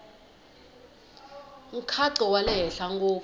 nkhaqato wa le henhla ngopfu